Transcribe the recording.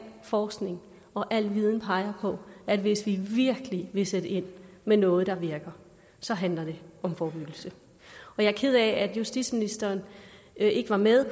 forskning og al viden peger på at hvis vi virkelig vil sætte ind med noget der virker så handler det om forebyggelse jeg er ked af at justitsministeren ikke var med